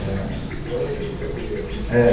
War é um jogo de tabuleiro, né? É